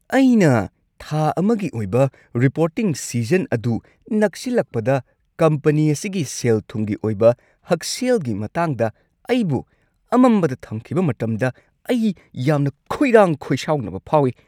ꯑꯩꯅ ꯊꯥ ꯑꯃꯒꯤ ꯑꯣꯏꯕ ꯔꯤꯄꯣꯔꯇꯤꯡ ꯁꯤꯖꯟ ꯑꯗꯨ ꯅꯛꯁꯤꯜꯂꯛꯄꯗ ꯀꯝꯄꯅꯤ ꯑꯁꯤꯒꯤ ꯁꯦꯜ-ꯊꯨꯝꯒꯤ ꯑꯣꯏꯕ ꯍꯛꯁꯦꯜꯒꯤ ꯃꯇꯥꯡꯗ ꯑꯩꯕꯨ ꯑꯃꯝꯕꯗ ꯊꯝꯈꯤꯕ ꯃꯇꯝꯗ ꯑꯩ ꯌꯥꯝꯅ ꯈꯣꯏꯔꯥꯡ-ꯈꯣꯏꯁꯥꯎꯅꯕ ꯐꯥꯎꯏ꯫